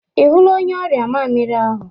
Ị hụla onye ọrịa mamịrị ahụ?